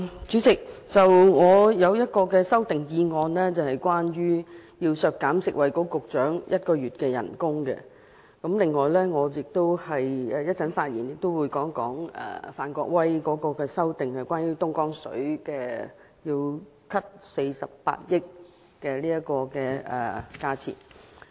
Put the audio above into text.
主席，我提出的一項修正案是要削減食物及衞生局局長1個月薪酬開支，另一方面，我稍後也會談談范國威議員提出削減48億元，相當於購買東江水預算開支的修正案。